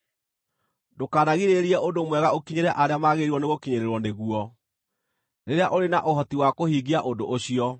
Ndũkanagirĩrĩrie ũndũ mwega ũkinyĩre arĩa maagĩrĩirwo nĩgũkinyĩrĩrwo nĩguo, rĩrĩa ũrĩ na ũhoti wa kũhingia ũndũ ũcio.